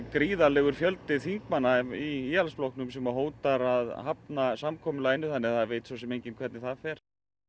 gríðarlegu fjöldi í Íhaldsflokknum sem hótar að hafna samkomulaginu svo það veit svosem enginn hvernig það fer